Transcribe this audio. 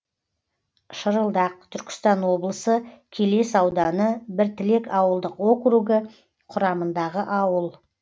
шырылдақ түркістан облысы келес ауданы біртілек ауылдық округі құрамындағы ауыл